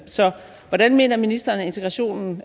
så hvordan mener ministeren at integrationen